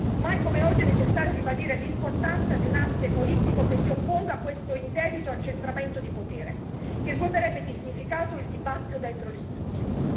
Mai come oggi, è necessario ribadire l'importanza di un asse politico che si opponga a questo indebito accentramento di potere che svuoterebbe di significato il dibattito dentro le istituzioni.